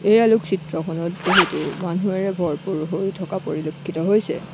এই আলোকচিত্ৰখনত বহুতো মানুহেৰে ভৰপুৰ হৈ থকা পৰিলক্ষিত হৈছে।